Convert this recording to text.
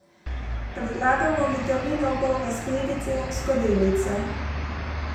Predlagamo vitaminov polne skledice in skodelice!